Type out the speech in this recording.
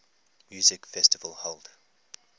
music festival held